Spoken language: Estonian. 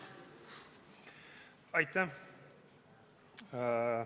Aitäh!